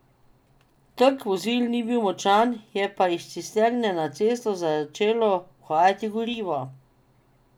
Trk vozil ni bil močan, je pa iz cisterne na cesto začelo uhajati gorivo.